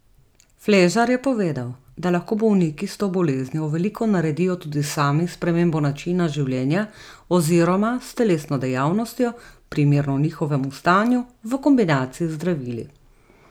Fležar je povedal, da lahko bolniki s to boleznijo veliko naredijo tudi sami s spremembo načina življenja oziroma s telesno dejavnostjo, primerno njihovemu stanju, v kombinaciji z zdravili.